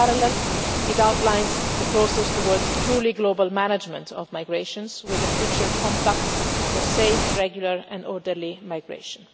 In parallel it outlines the process towards a truly global management of migrations with a future compact for safe, regular and orderly migration.